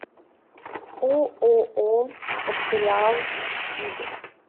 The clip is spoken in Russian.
ооо факториал сиб